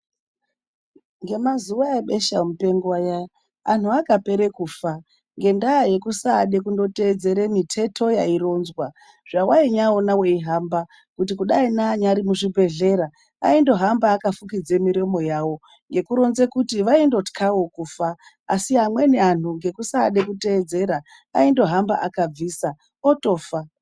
Ngemazuva ebesha mupengo aya vantu vakapera kufa ngenda yekusatedzera miteto yaironzwa zvawaiona weihamba kuti neanyari muzvibhedhlera aingohamba akafukidza miromo yavo ngekuronza kuti vaitotyawo kufa asi amweni andu nekusada kutedzera aindohamba akabvisa otofa.